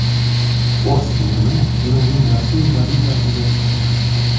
Fors tumani Eronning rasmiy valyutasiga aylandi .